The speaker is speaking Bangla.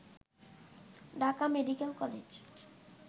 Dhaka medical college